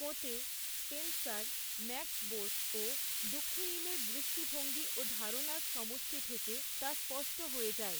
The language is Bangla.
কোঁতে, স্পেনসার, ম্যাক্স বোর ও দুখেইমের দৃষ্টিভঙ্গি ও ধারণার সমষ্টি থেকে, তা স্পষ্ট হয়ে যায়।